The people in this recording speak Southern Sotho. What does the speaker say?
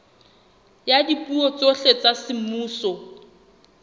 ya dipuo tsohle tsa semmuso